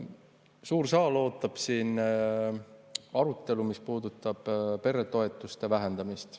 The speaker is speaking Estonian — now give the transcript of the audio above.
Suur saal ootab siin arutelu, mis puudutab peretoetuste vähendamist.